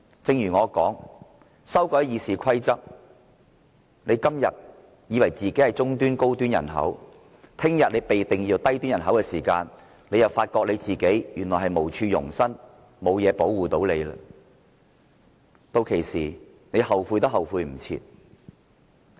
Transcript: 正如我所說，《議事規則》經修改後，他們今天以為自己是中端、高端人口，明天當他們被定義為低端人口的時候，便會發覺自己原來無處容身，沒有東西可作保護，屆時他們後悔也莫及。